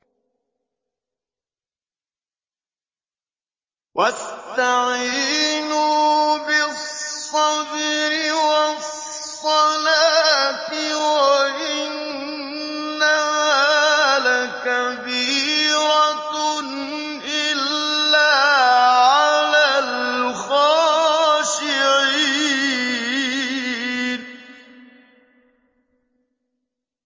وَاسْتَعِينُوا بِالصَّبْرِ وَالصَّلَاةِ ۚ وَإِنَّهَا لَكَبِيرَةٌ إِلَّا عَلَى الْخَاشِعِينَ